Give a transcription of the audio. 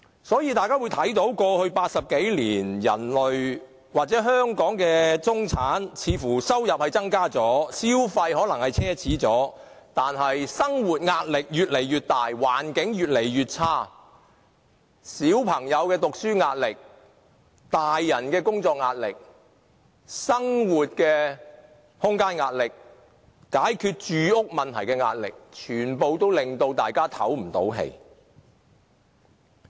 所以，過去80多年，大家看到人類或香港中產的收入似乎有所增加，消費亦可能奢侈了，但生活壓力卻越來越大，環境越來越差，小朋友的讀書壓力、成人的工作壓力、生活空間的壓力，以及解決住屋問題的壓力，全部皆令大家透不過氣。